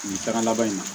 Nin taga laban in na